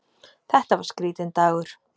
Þetta var skrítinn dagur.